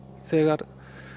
þegar